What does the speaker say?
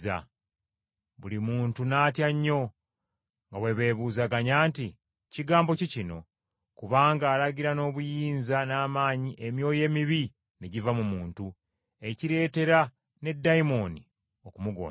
Buli muntu n’atya nnyo nga bwe beebuuzaganya nti, “Kigambo ki kino? Kubanga alagira n’obuyinza n’amaanyi emyoyo emibi ne giva mu muntu, ekireetera ne dayimooni okumugondera.”